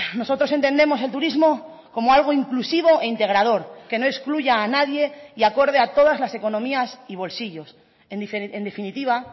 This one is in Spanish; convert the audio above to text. nosotros entendemos el turismo como algo inclusivo e integrador que no excluya a nadie y acorde a todas las economías y bolsillos en definitiva